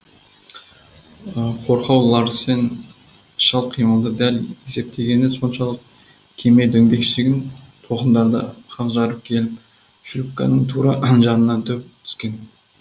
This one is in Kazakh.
қорқау ларсен шалт қимылды дәл есептегені соншалық кеме дөңбекшіген толқындарды қақ жарып келіп шлюпканың тура жанына дөп түскен